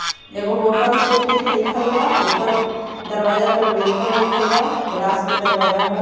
एगो होटल सुकृत लिखल बा उपर दरवाजा पर वेलकम लिखल बा ग्लास के दरवाजा बा